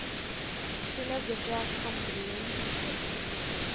De levde fra kambrium til karbon.